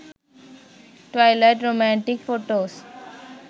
twilight romantic photos